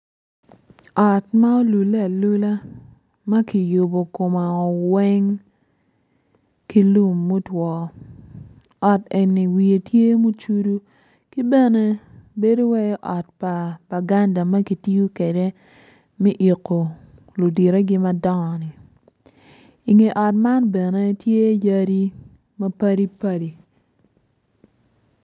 Ot ma olulle alula ma ki yubo komeo weng ki lum mutwo ot enni wiye tye mucudu ki bene bedo wai ot pa banganda ma ki tiyo kede mi iko ludittegi ma dongo-ni i nge ot man bene tye yadi ma padi padi